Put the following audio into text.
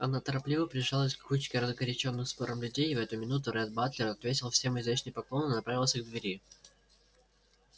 она торопливо приближалась к кучке разгорячённых спором людей и в эту минуту ретт батлер ответил всем изящный поклон и направился к двери